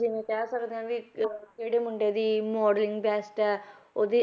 ਜਿਵੇਂ ਕਹਿ ਸਕਦੇ ਹਾਂ ਵੀ ਜਿਹੜੇ ਮੁੰਡੇ ਦੀ modeling best ਹੈ ਉਹਦੀ